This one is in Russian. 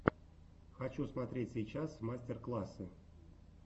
хочу смотреть сейчас мастер классы